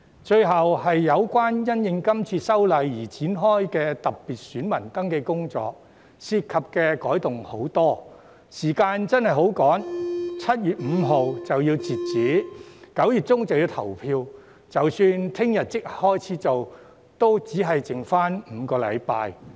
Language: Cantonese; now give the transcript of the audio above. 最後是有關因應這次修例而展開的特別選民登記工作，涉及的改動繁多，時間上真的相當匆忙 ，7 月5日截止後 ，9 月中便要投票，即使明天立即開始進行，也只餘下5個星期。